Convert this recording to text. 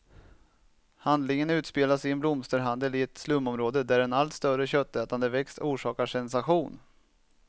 Handlingen utspelas i en blomsterhandel i ett slumområde, där en allt större köttätande växt orsakar sensation.